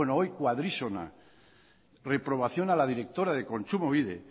bueno hoy cuadrísona reprobación a la directora de kontsumobide